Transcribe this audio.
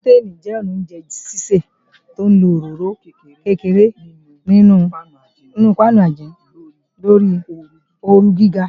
Sọ̀téìn jẹ́ ọnà oúnjẹ sísè tí ń lọ òróró kékeré ní inu páánù àìjinlẹ̀ lórí ooru gíga.